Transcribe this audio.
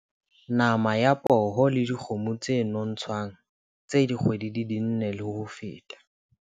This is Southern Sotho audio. Nama ya poho le dikgomo tse nontshwang tse dikgwedi di nne le ho feta.